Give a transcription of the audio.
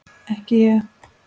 Ekki ég!